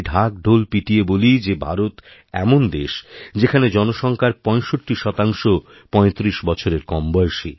ঢোল পিটিয়ে বলি যে ভারত এমন দেশ যেখানে জনসংখ্যার ৬৫ শতাংশ পঁয়ত্রিশ বছরেরকম বয়সী